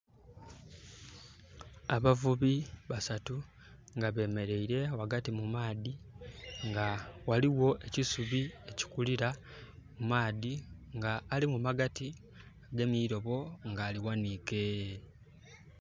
Abavubi basatu nga bemeleire ghagati mu maadhi. Nga ghaligho ekisubi ekikulira mu maadhi. Nga ali mu magati agemye eilobo nga alighaniike.